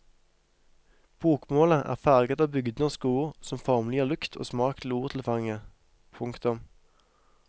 Bokmålet er farget av bygdenorske ord som formelig gir lukt og smak til ordtilfanget. punktum